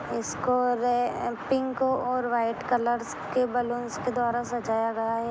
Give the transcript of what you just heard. इसको रे पिंक और व्हाइट कलर के बलून के द्वारा सजाया गया है।